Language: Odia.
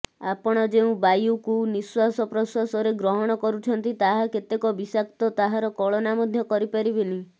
ଆପଣ ଯେଉଁ ବାୟୁକୁ ନିଃଶ୍ୱାସପ୍ରଶ୍ୱାସରେ ଗ୍ରହଣ କରୁଛନ୍ତି ତାହା କେତେକ ବିଷାକ୍ତ ତାହାର କଳନା ମଧ୍ୟ କରିପାରିବେନି